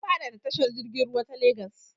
An faɗaɗa tashar jirg ruwai ta Lagos.